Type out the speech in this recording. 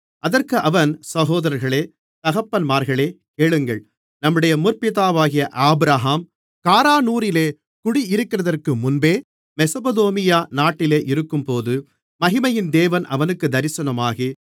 அதற்கு அவன் சகோதரர்களே தகப்பன்மார்களே கேளுங்கள் நம்முடைய முற்பிதாவாகிய ஆபிரகாம் காரானூரிலே குடியிருக்கிறதற்கு முன்பே மெசொப்பொத்தாமியா நாட்டிலே இருக்கும்போது மகிமையின் தேவன் அவனுக்குத் தரிசனமாகி